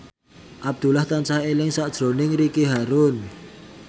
Abdullah tansah eling sakjroning Ricky Harun